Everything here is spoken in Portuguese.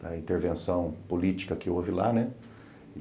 da intervenção política que houve lá, né?